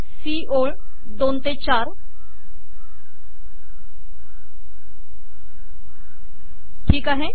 C ओळ 2 ते 4 ठीक आहे